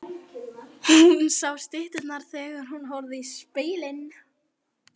Hún sá stytturnar þegar hún horfði í spegilinn.